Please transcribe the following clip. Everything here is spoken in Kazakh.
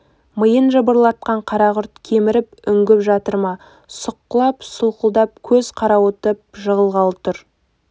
миын жыбырлаған қарақұрт кеміріп үңгіп жатыр ма сұққылап солқылдап көз қарауытып жығылғалы тұр